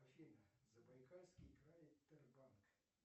афина забайкальский край тербанк